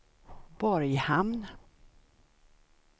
Borghamn